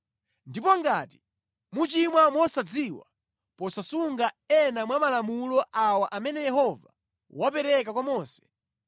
“ ‘Ndipo ngati muchimwa mosadziwa posasunga ena mwa malamulo awa amene Yehova wapereka kwa Mose,